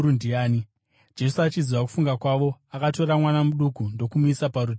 Jesu, achiziva kufunga kwavo, akatora mwana muduku ndokumumisa parutivi rwake.